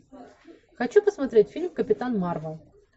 хочу посмотреть фильм капитан марвел